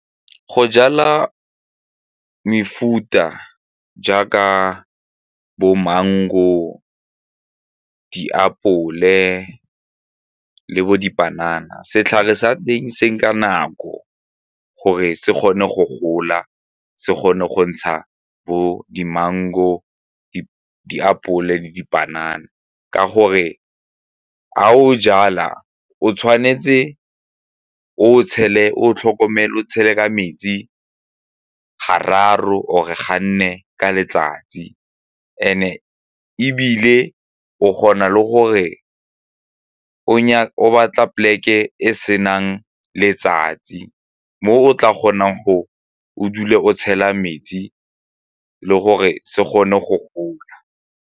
Go jala mefuta jaaka bo-mango, diapole le bo-dipanana, setlhare sa teng se nka nako gore se kgone go gola, se kgone go ntsha bo di-mango, diapole le dipanana ka gore ga o jala o tshwanetse o tlhokomele o tshele metsi gararo or ga nne ka letsatsi and-e ebile o kgona le gore o batla poleke e e senang letsatsi mo o tla kgonang go o dule o tshela metsi le gore se gone go gola.